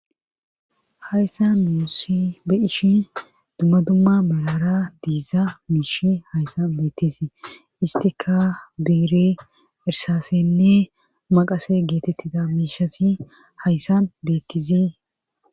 hayssan nuu be'ishi dumma dumma malara diiza miish hayssan beettisi istika beere irsaassenne maqase geetettida miishasi hayssan beettizi